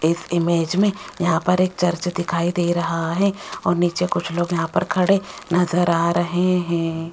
इस इमेज में यहां पर एक चर्च दिखाई दे रहा है और नीचे कुछ लोग यहां पर खड़े नजर आ रहे हैं।